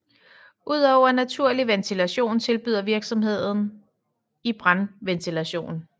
Udover naturlig ventilation tilbyder virksomheden i brandventilation